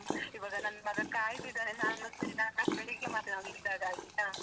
ಇವಗ ನನ್ನ್ ಮಗ ಕಾಯ್ತಿದಾನೆ, ನಾನ್ ನಿಧಾನ ನಾನ್ ಮತ್ತೆ ಬೆಳಿಗ್ಗೆ ಮಾತಾಡ್ತಿನಿ ಅವ್ನ್ ಇಲ್ದಾಗ ಆಯ್ತಾ?